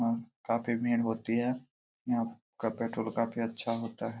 आह काफी भीड़ होती हैं यहां का पेट्रोल काफी अच्छा होता है।